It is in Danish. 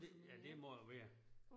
Det ja det må det være